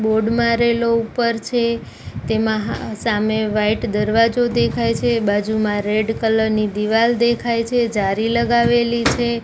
Board મારેલો ઉપર છે તેમાં હા સામે વાઈટ દરવાજો દેખાય છે બાજુમાં રેડ કલર ની દિવાલ દેખાય છે જારી લગાવેલી છે.